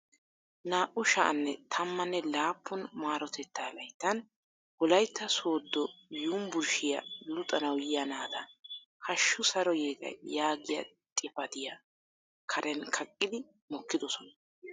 Naa"u sha"anne tammanne laappun maarotetaa layittan wolaytta sooddo yumburshiya luxanawu yiya naata hashsji saro yeeta yaagiya xipatiya karen kaqqidi mokkidosona.